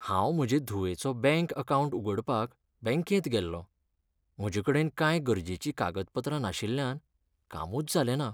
हांव म्हजे धुवेचो बँक अकावंट उगडपाक बँकेंत गेल्लो, म्हजे कडेन कांय गरजेचीं कागदपत्रां नाशिल्ल्यान कामूच जालें ना.